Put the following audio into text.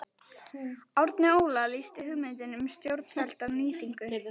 Árni Óla lýsti hugmyndum um stórfellda nýtingu